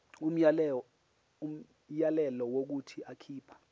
umyalelo wokuthi akhipha